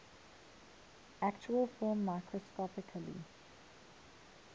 actual film microscopically